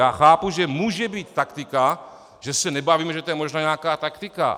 Já chápu, že může být taktika, že se nebavíme, že to je možná nějaká taktika.